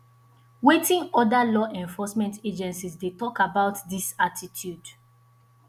wetin oda law enforcement agencies dey talk about dis attitude